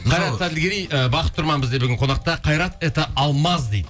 қайрат әділгерей ыыы бақыт тұрман бізде бүгін қонақта қайрат это алмаз дейді